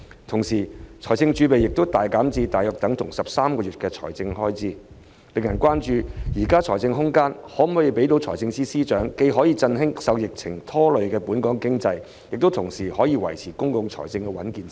同時，財政儲備亦大減至相當於13個月的財政開支，令人關注現時的財政空間，能否讓司長既振興受疫情拖累的本港經濟，同時維持公共財政的穩健性。